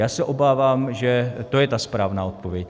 Já se obávám, že to je ta správná odpověď.